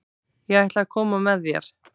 Ég ætla að koma með þér!